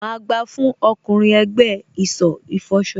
Má gbà fún ọkùnrin ẹ̀gbẹ́ ìsọ̀ ìfọṣọ.